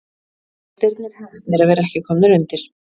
Gestirnir heppnir að vera ekki komnir undir.